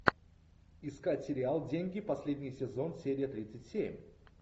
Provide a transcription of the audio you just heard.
искать сериал деньги последний сезон серия тридцать семь